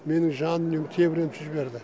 менің жандүниемді тебірентіп жіберді